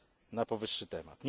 na powyższy temat.